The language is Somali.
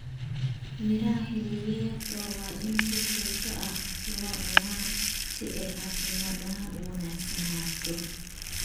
Miraha xilliyeedka waa in si joogto ah loo cunaa si ay caafimaad ahaan u wanaagsanaato.